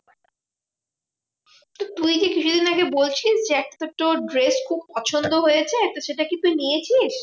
তুই কি কিছুদিন আগে বলছিলিস যে, একটা তোর dress খুব পছন্দ হয়েছে, তো সেটা কি তুই নিয়েছিস?